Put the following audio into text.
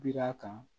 Bi d'a kan